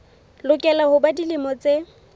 lokela ho ba dilemo tse